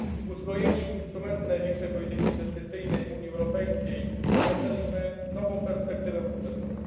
Uzbrojeni w instrumenty największej polityki inwestycyjnej Unii Europejskiej rozpoczęliśmy nową perspektywę budżetową.